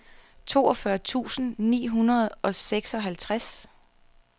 toogfyrre tusind ni hundrede og seksoghalvtreds